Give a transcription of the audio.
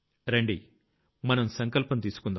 రండి మనం సంకల్పం తీసుకుందాం